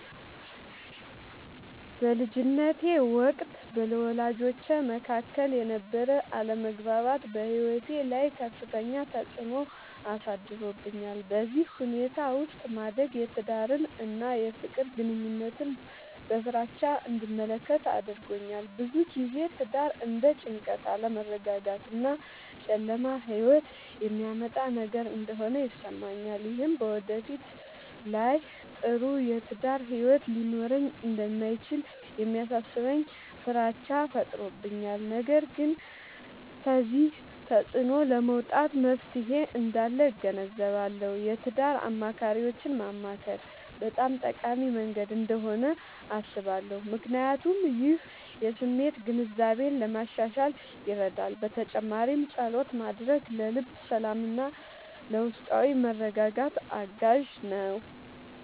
በልጅነቴ ወቅት በወላጆቼ መካከል የነበረ አለመግባባት በሕይወቴ ላይ ከፍተኛ ተፅዕኖ አሳድሮብኛል። በዚህ ሁኔታ ውስጥ ማደግ የትዳርን እና የፍቅር ግንኙነትን በፍራቻ እንድመለከት አድርጎኛል። ብዙ ጊዜ ትዳር እንደ ጭንቀት፣ አለመረጋጋት እና ጨለማ ሕይወት የሚያመጣ ነገር እንደሆነ ይሰማኛል። ይህም በወደፊት ላይ ጥሩ የትዳር ሕይወት ሊኖረኝ እንደማይችል የሚያሳስበኝ ፍራቻ ፈጥሮብኛል። ነገር ግን ከዚህ ተፅዕኖ ለመውጣት መፍትሔ እንዳለ እገነዘባለሁ። የትዳር አማካሪዎችን ማማከር በጣም ጠቃሚ መንገድ እንደሆነ አስባለሁ፣ ምክንያቱም ይህ የስሜት ግንዛቤን ለማሻሻል ይረዳል። በተጨማሪም ፀሎት ማድረግ ለልብ ሰላምና ለውስጣዊ መረጋጋት አጋዥ ነው።